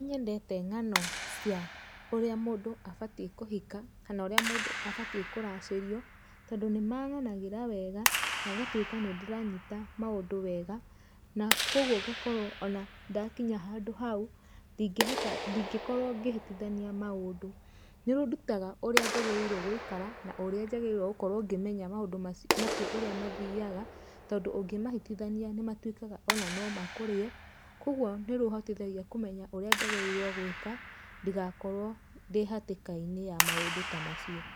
Nĩnyendete ngano cia ũrĩa mũndũ abatie kũhika kana ũrĩa mũndũ abatie kũracĩrio tondũ nĩmaganagĩra weega na ngatũĩka nĩndĩranyita maũndũ weega na kwoguo ngakorwo ona ndakinya handũ hau ndingĩkorwo ngĩhĩtanithia maũndũ nĩũndutaga ũrĩa njagĩrĩirwo gũikara na ũrĩa njagĩrĩirwo gũkorwo ngĩmenya maũndũ macio ũrĩa mathiaga tondũ ũngĩmahĩtĩthania nĩmatũĩkaga ona nomakũrĩe kwoguo nĩmahotithagia kũmenya ũrĩa njagĩrĩirwo gũĩka ndĩgakorwo ndĩhatĩkainĩ ya maũndũ ta macio.